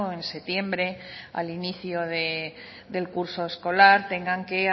en septiembre al inicio del curso escolar tengan que